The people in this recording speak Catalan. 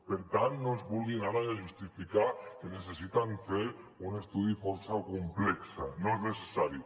per tant no ens vulguin ara justificar que necessiten fer un estudi força complex no és necessari